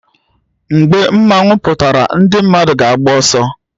Mgbe mmanwu pụtara ndị mmadụ ga-agba ọsọ